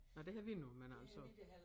Nej det har vi nu men altså